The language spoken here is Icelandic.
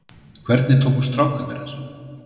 Hvernig tóku strákarnir þessu?